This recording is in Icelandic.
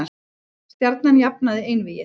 Stjarnan jafnaði einvígið